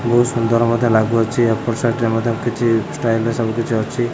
ବୋହୁତ୍ ସୁନ୍ଦର ମଧ୍ୟ ଲାଗୁଅଛି ଏପଟ ସାଇଟ୍ ରେ ମଧ୍ୟ କିଛି ଷ୍ଟାଇଲ ରେ ସବୁ କିଛି ଅଛି।